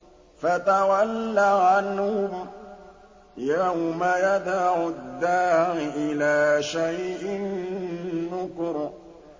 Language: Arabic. فَتَوَلَّ عَنْهُمْ ۘ يَوْمَ يَدْعُ الدَّاعِ إِلَىٰ شَيْءٍ نُّكُرٍ